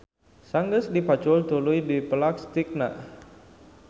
Sanggeus dipacul tuluy dipelak stekna.